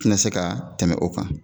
tɛna se ka tɛmɛ o kan.